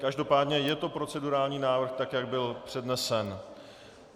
Každopádně je to procedurální návrh tak, jak byl přednesen.